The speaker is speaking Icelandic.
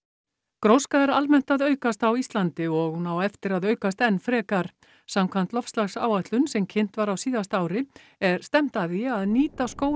gróska er almennt að aukast á Íslandi og hún á eftir að aukast enn frekar samkvæmt loftslagsáætlun sem kynnt var á síðasta ári er stefnt að því að nýta skógrækt